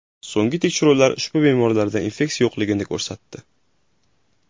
So‘nggi tekshiruvlar ushbu bemorlarda infeksiya yo‘qligini ko‘rsatdi.